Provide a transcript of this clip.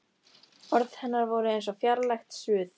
Orð hennar voru eins og fjarlægt suð.